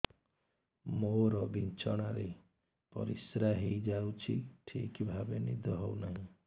ମୋର ବିଛଣାରେ ପରିସ୍ରା ହେଇଯାଉଛି ଠିକ ଭାବେ ନିଦ ହଉ ନାହିଁ